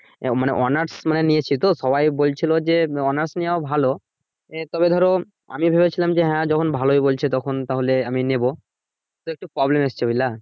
মানে honor's মানের নিয়েছি তো সবাই বলছিলো যে honor's নেয়াও ভালো তবে ধরো আমি ভেবেছিলাম যে হ্যা যখন ভালোই বলছে তখন তাহলে আমি নিবো তো একটু problem হচ্ছে বুঝলা।